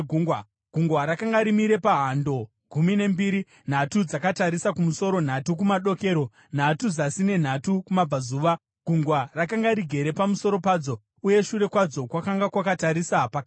Gungwa rakanga rimire pahando gumi nembiri, nhatu dzakatarisa kumusoro, nhatu kumadokero, nhatu zasi nenhatu kumabvazuva. Gungwa rakanga rigere pamusoro padzo, uye shure kwadzo kwakanga kwakatarisa pakati.